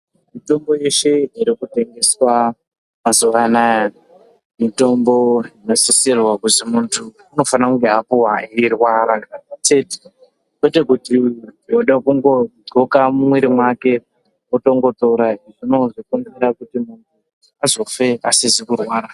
Mitombo yeshe irikutengeswa mazuwanai mitombo inosisirwa kuzi munhu apuhwe eirwara kwete kuti woda kungodhloka mumwiri make otongotora zvinokenzera kuti munhu azofe asizikurwara